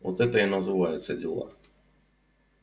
вот это и называется дела